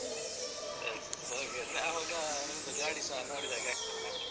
Yes okay ಅವಾಗ ನಿಮ್ದು ಗಾಡಿಸ ನೋಡಿದ ಹಾಗೆ ಆಗ್ತದೆ ನಮ್ಗೆ.